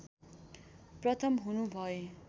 प्रथम हुनु भए